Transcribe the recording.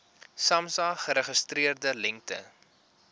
samsa geregistreerde lengte